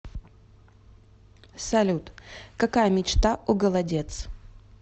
салют какая мечта у голодец